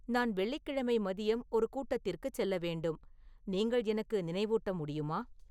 நான் வெள்ளிக் கிழமை மதியம் ஒரு கூட்டத்திற்குச் செல்ல வேண்டும் நீங்கள் எனக்கு நினைவூட்ட முடியுமா